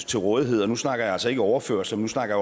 til rådighed og nu snakker jeg altså ikke om overførsler nu snakker